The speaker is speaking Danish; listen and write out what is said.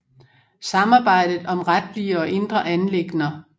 Samarbejdet om retlige og indre anliggender